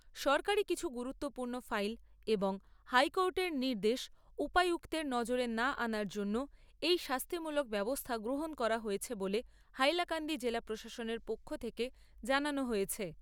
সরকারী কিছু গুরুত্বপূর্ণ ফাইল এবং হাইকোর্টের নির্দেশ উপায়ুক্তের নজরে না আনার জন্য এই শাস্তিমূলক ব্যবস্থা গ্রহণ করা হয়েছে বলে হাইলাকান্দি জেলা প্রশাসনের পক্ষ থেকে জানানো হয়েছে।